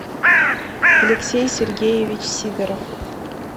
алексей сергеевич сидоров